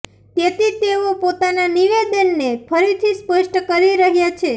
તેતી તેઓ પોતાના નિવેદનને ફરીથી સ્પષ્ટ કરી રહ્યા છે